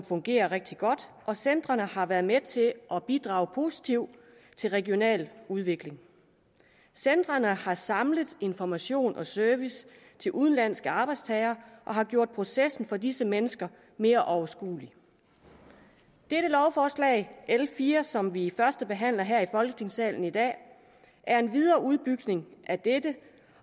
fungerer rigtig godt og centrene har været med til at bidrage positivt til regional udvikling centrene har samlet information og service til udenlandske arbejdstagere og har gjort processen for disse mennesker mere overskuelig dette lovforslag l fire som vi førstebehandler her i folketingssalen i dag er en videreudbygning af dette